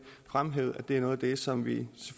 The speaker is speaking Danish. fremhævede at det er noget af det som vi